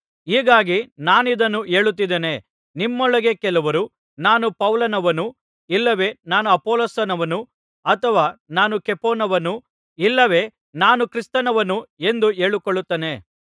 ಹೀಗಾಗಿ ನಾನಿದನ್ನು ಹೇಳುತ್ತಿದ್ದೇನೆ ನಿಮ್ಮೊಳಗೆ ಕೆಲವರು ನಾನು ಪೌಲನವನು ಇಲ್ಲವೆ ನಾನು ಅಪೊಲ್ಲೋಸನವನು ಅಥವಾ ನಾನು ಕೇಫನವನು ಇಲ್ಲವೆ ನಾನು ಕ್ರಿಸ್ತನವನು ಎಂದು ಹೇಳಿಕೊಳ್ಳುತ್ತಾನಂತೆ